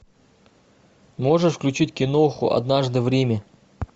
можешь включить киноху однажды в риме